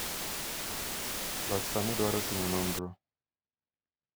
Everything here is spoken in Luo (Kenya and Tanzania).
loch sani dwaro timo nonro